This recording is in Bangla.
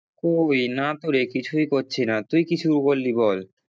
কই না তোরে কিছুই করছি না, তুই কি শুরু করলি বল?